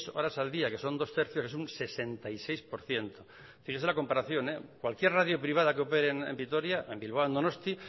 horas al día que son dos tercios que son sesenta y seis por ciento fíjese en la comparación cualquier radio privada que opere en vitoria o en bilbao o en donostia